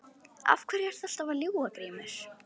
Af hverju ertu alltaf að ljúga Grímur?